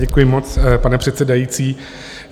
Děkuji moc, pane předsedající.